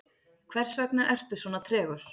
hversvegna ertu svona tregur